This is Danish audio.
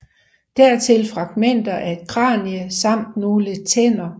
Dertil fragmenter af et kranie samt nogle tænder